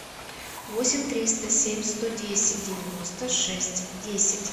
восемь триста семь сто десять девяносто шесть десять